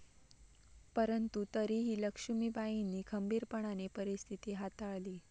परंतु तरीही लक्ष्मीबाईंनी खंबीरपणाने परिस्थिती हाताळली.